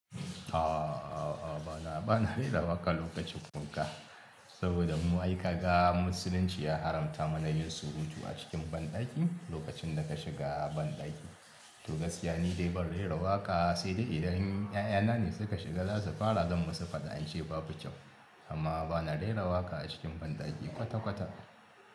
A'a, a'a, a'a bana, bana rera waƙa lokacin kuka saboda mu aika ga musulunci ya haramta mana yin surutu a cikin banɗaki lokacin da ka shiga banɗaki. To gaskiya ne ban rera waƙa sai dai idan 'ya'yana ne suka shiga za su fara don masu faɗa in ce babu kyau amma bana rera waƙa a cikin banɗaki kwata-kwata.